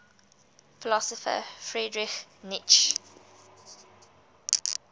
philosopher friedrich nietzsche